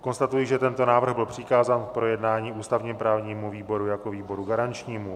Konstatuji, že tento návrh byl přikázán k projednání ústavně-právnímu výboru jako výboru garančnímu.